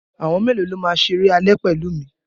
Àwọn mélòó ló máa ṣeré alẹ́ pẹ̀lú mi?